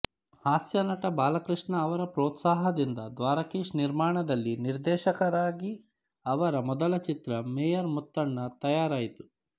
ಹಾಸ್ಯನಟ ಬಾಲಕೃಷ್ಣ ಅವರ ಪ್ರೋತ್ಸಾಹದಿಂದ ದ್ವಾರಕೀಶ್ ನಿರ್ಮಾಣದಲ್ಲಿ ನಿರ್ದೇಶಕರಾಗಿ ಅವರ ಮೊದಲ ಚಿತ್ರ ಮೇಯರ್ ಮುತ್ತಣ್ಣ ತಯಾರಾಯಿತು